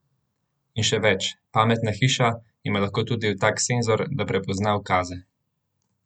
In še več: "Pametna hiša" ima lahko tudi tak senzor, da prepozna ukaze.